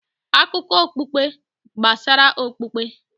Akụkọ okpukpe gbasara okpukpe